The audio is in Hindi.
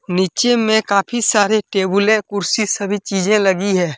नीचे में काफी सारे टेबुलें कुर्सी सभी चीजे लगी है।